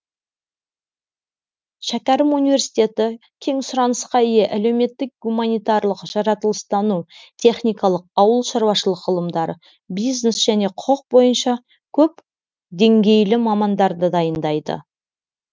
шәкәрім университеті кең сұранысқа ие әлеуметтік гуманитарлық жаратылыстану техникалық ауыл шаруашылық ғылымдары бизнес және құқық бойынша көп деңгейлі мамандарды дайындайды